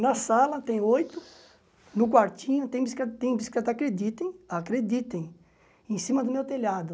Na sala tem oito, no quartinho tem bicicleta, tem bicicleta, acreditem, acreditem, em cima do meu telhado.